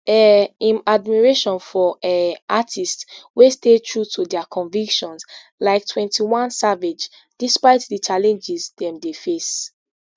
um im admiration for um artists wey stay true to dia convictions like twenty-one savage despite di challenges dem dey face